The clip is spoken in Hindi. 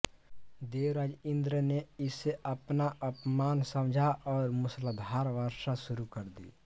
देवराज इन्द्र ने इसे अपना अपमान समझा और मूसलाधार वर्षा शुरू कर दी